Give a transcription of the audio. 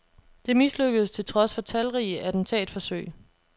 Det mislykkedes til trods for talrige attentatforsøg.